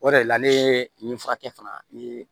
O de la ne ye nin furakɛ fana ni